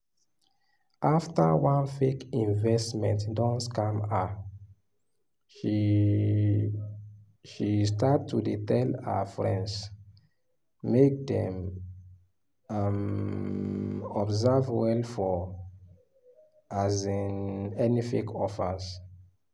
after one fake investment don scam her she she start to dey tell her friends make dem um observe well for um any fake offers